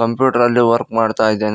Computer ಅಲ್ಲಿ work ಮಾಡ್ತ ಇದ್ದಾನೆ.